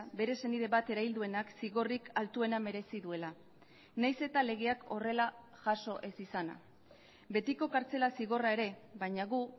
bere senide bat erail duenak zigorrik altuena merezi duela nahiz eta legeak horrela jaso ez izana betiko kartzela zigorra ere baina gu